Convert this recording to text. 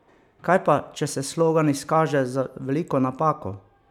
Kaj pa, če se slogan izkaže za veliko napako?